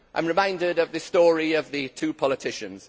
I am reminded of the story of the two politicians.